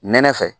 Nɛnɛ fɛ